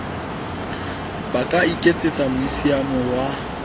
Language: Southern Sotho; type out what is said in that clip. ba ka iketsetsa meusiamo wa